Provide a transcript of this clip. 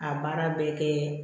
A baara bɛ kɛ